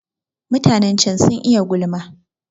Mutanen can sun iya gulma